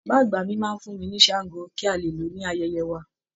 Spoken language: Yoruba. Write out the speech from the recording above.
Bàbá àgbà máa fún mi ní shango kí a le lò ó ní ayẹyẹ wa